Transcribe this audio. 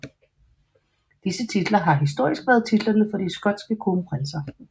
Disse titler har historisk været titlerne for de skotske kronprinser